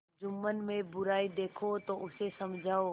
जुम्मन में बुराई देखो तो उसे समझाओ